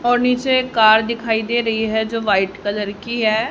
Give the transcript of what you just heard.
और नीचे एक कार दिखाई दे रही है जो वाइट कलर की है।